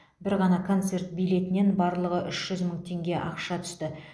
бір ғана концерт билетінен барлығы үш жүз мың теңге ақша түсті